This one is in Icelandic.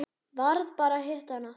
Varð bara að hitta hana.